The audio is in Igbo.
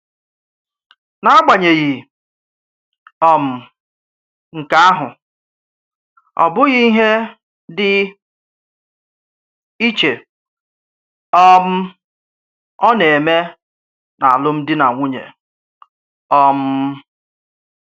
N'agbanyeghị um nke ahụ, ọ bụ ihe dị iche um ọ na-eme na alụmdi na nwunye! um